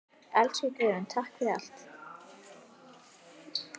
Elsku Guðrún, takk fyrir allt.